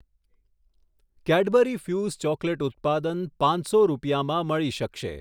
Cadbury Fuse chocolate ઉત્પાદન પાંચસો રૂપિયામાં મળી શકશે